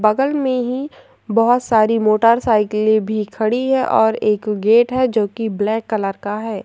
बगल में ही बोहोत सारी मोटरसाइकले भी खड़ी है और एक गेट है जोकि ब्लैक कलर का है।